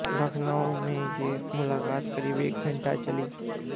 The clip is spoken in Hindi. लखनऊ में ये मुलाकात करीब एक घंटे चली